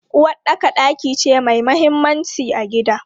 Uwaɗɗaka ɗaki ce mai mahimmanci a gida.